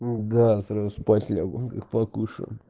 да сразу спать лягу как покушаю